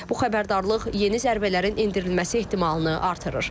Bu xəbərdarlıq yeni zərbələrin endirilməsi ehtimalını artırır.